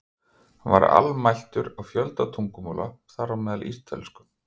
Hann var almæltur á fjölda tungumála, þar á meðal ítölsku.